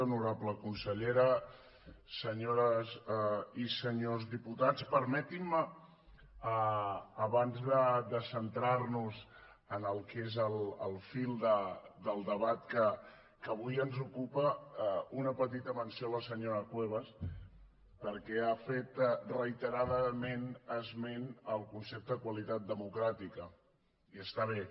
honorable consellera senyores i senyors diputats permetinme abans de centrarnos en el que és el fil del debat que avui ens ocupa una petita menció a la senyora cuevas perquè ha fet reiteradament esment del concepte qualitat democràtica i està bé